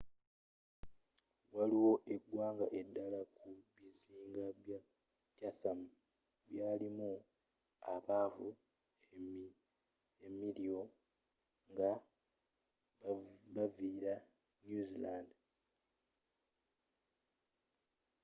waliwo egwanga eddala ku bizinga bya chatham byalimu abaava e maori nga bavila new zealand